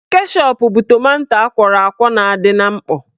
Keshọp bụ tomanto akwọrọ akwọ na-adị na mkpọ